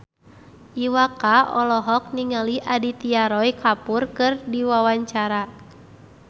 Iwa K olohok ningali Aditya Roy Kapoor keur diwawancara